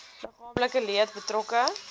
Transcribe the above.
liggaamlike leed betrokke